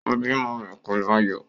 Ó bímọ rẹ̀ pẹ̀lú ayọ̀